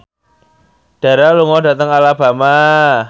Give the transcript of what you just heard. Dara lunga dhateng Alabama